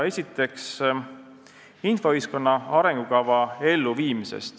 Esiteks, infoühiskonna arengukava elluviimine.